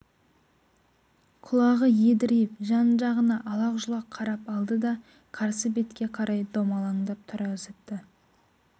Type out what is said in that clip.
құлағы едірейіп жан жағына алақ-жұлақ қарап алды да қарсы бетке қарай домалаңдап тұра зытты